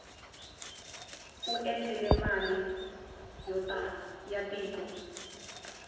u dyile mali ya tiko